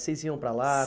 Vocês iam para lá?